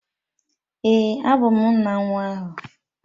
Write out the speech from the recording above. Ee, abụ m nna nwa ahụ